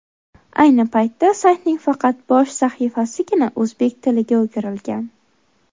Ayni paytda saytning faqat bosh sahifasigina o‘zbek tiliga o‘girilgan.